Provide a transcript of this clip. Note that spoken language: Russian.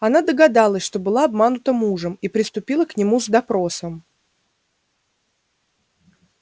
она догадалась что была обманута мужем и приступила к нему с допросом